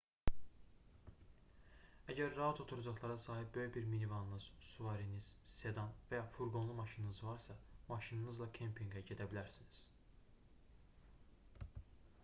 əgər rahat oturacaqlara sahib böyük bir minivanınız suvariniz sedan və ya furqonlu maşınınız varsa maşınınızla kempinqə gedə bilərsiniz